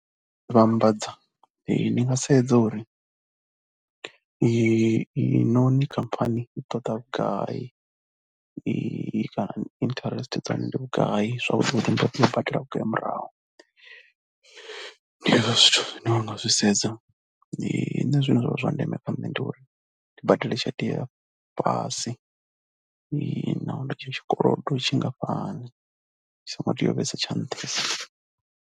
Vhambadza, ndi nga sedza uri inoni khamphani i ṱoḓa vhugai, i kana dzi interest dza hone ndi vhugai. Zwavhuḓi vhuḓi nda tea u badela vhugai murahu. Ndi hezwo zwithu zwine ndi zwi nga zwi sedza, ndi zwone zwine zwa vha zwa ndeme kha nṋe, ndi uri ndi badele tshelede ya fhasi nahone tshetsho tshikolodo ndi tshingafhani, a tsho ngo tea u vhesa tsha nṱha.